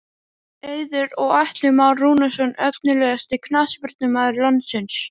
Eiður og Atli Már Rúnarsson Efnilegasti knattspyrnumaður landsins?